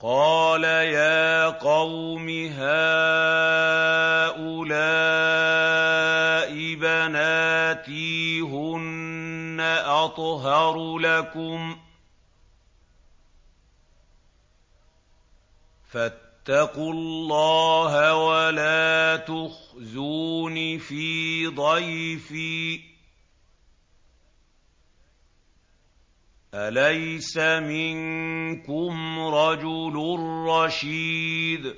قَالَ يَا قَوْمِ هَٰؤُلَاءِ بَنَاتِي هُنَّ أَطْهَرُ لَكُمْ ۖ فَاتَّقُوا اللَّهَ وَلَا تُخْزُونِ فِي ضَيْفِي ۖ أَلَيْسَ مِنكُمْ رَجُلٌ رَّشِيدٌ